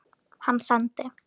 Hann sendi